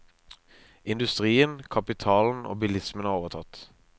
Industrien, kapitalen og bilismen har overtatt.